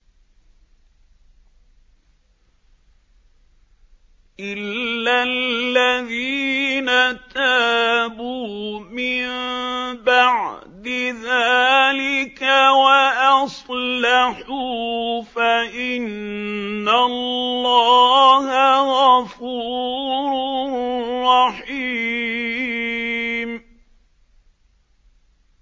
إِلَّا الَّذِينَ تَابُوا مِن بَعْدِ ذَٰلِكَ وَأَصْلَحُوا فَإِنَّ اللَّهَ غَفُورٌ رَّحِيمٌ